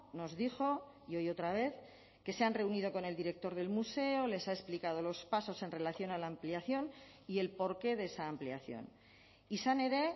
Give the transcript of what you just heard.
nos dijo y hoy otra vez que se han reunido con el director del museo les ha explicado los pasos en relación a la ampliación y el porqué de esa ampliación izan ere